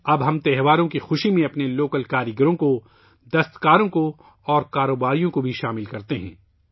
اب ہم تہواروں کی خوشی میں اپنے مقامی کاریگروں ، دست کاروں اور تاجروں کے بھی شامل کرتے ہیں